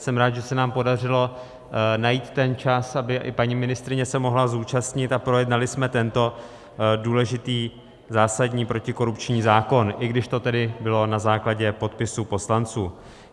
Jsem rád, že se nám podařilo najít ten čas, aby i paní ministryně se mohla zúčastnit a projednali jsme tento důležitý zásadní protikorupční zákon, i když to tedy bylo na základě podpisu poslanců.